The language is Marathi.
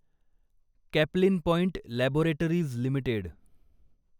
Caplin Point Laboratories limited